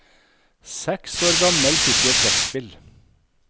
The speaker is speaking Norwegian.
Seks år gammel fikk jeg trekkspill.